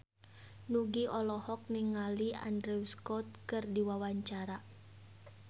Nugie olohok ningali Andrew Scott keur diwawancara